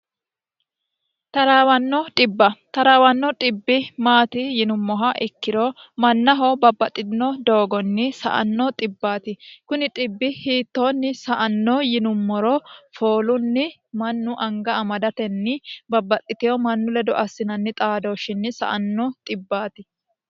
traawanno dhibba taraawanno xibbi maati yinummoha ikkiro mannaho babbaxxino doogonni sa"anno xibbaati kuni xibbi hiittoonni sa"anno yinummoro foolunni mannu anga amadatenni babbaxxitewo mannu ledo assinanni xaadooshinni sa"anno xibbaati